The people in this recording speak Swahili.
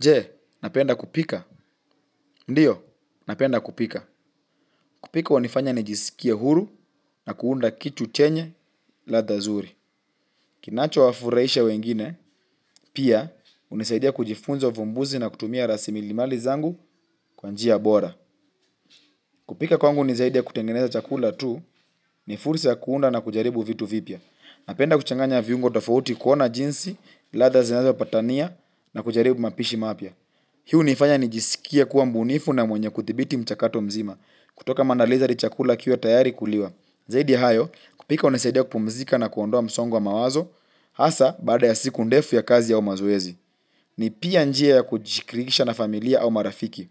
Je, napenda kupika. Ndiyo, napenda kupika. Kupika hunifanya nijisikie huru na kuunda kitu chenye ladha nzuri. Kinacho wafurahisha wengine, pia hunisaidia kujifunza uvumbuzi na kutumia rasilimali zangu kwanjia bora. Kupika kwangu ni zaidi ya kutengeneza chakula tu ni fursa ya kuunda na kujaribu vitu vipya. Napenda kuchanganya viungo tofauti kuona jinsi ladha zinazo patania na kujaribu mapishi mapya. Hii hunifanya nijisikie kuwa mbunifu na mwenye kuthibiti mchakato mzima, kutoka maandalizi hadi chakula kiwe tayari kuliwa. Zaidi ya hayo, kupika hunisaidia kupumzika na kuondoa msongo wa mawazo, hasa bada ya siku ndefu ya kazi au mazoezi. Ni pia njia ya kujikirikisha na familia au marafiki.